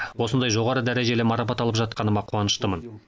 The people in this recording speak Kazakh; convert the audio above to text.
осындай жоғары дәрежелі марапат алып жатқаныма қуаныштымын